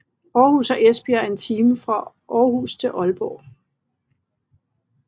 Aarhus og Esbjerg og en time fra Aarhus til Aalborg